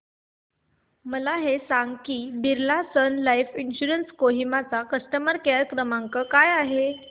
मला हे सांग की Birla sun life insurance Kohima चा कस्टमर केअर क्रमांक काय आहे